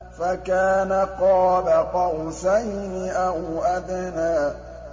فَكَانَ قَابَ قَوْسَيْنِ أَوْ أَدْنَىٰ